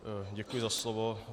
Děkuji za slovo.